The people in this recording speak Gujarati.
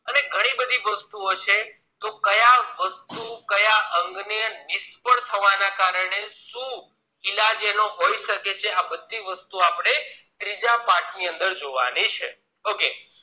હવે ઘણી બધી વસ્તુઓ હોય છે તો કયા વસ્તુ કયા અંગ ને નિષ્ફળ થવાના કારણે શું ઈલાજ હોય શકે આ બધી વસ્તુ આપણે ત્રીજા પાઠ ની અંદર જોવાની છે okay